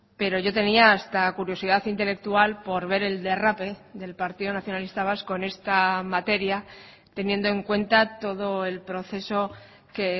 pero yo tenía hasta curiosidad intelectual por ver el derrape del partido nacionalista vasco en esta materia teniendo en cuenta todo el proceso que